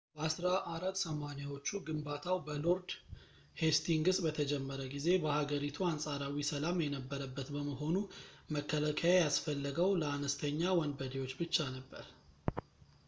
በ1480ዎቹ ግንባታው በሎርድ ሄስቲንግስ በተጀመረ ጊዜ በሀገሪቱ አንፃራዊ ሰላም የነበረበት በመሆኑ መከላከያ ያስፈለገው ለአነስተኛ ወንበዴዎች ብቻ ነበር